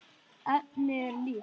Efnið er líkt.